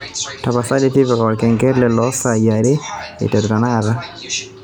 tapasali tipika orkengele loo sai are aiteru tenakata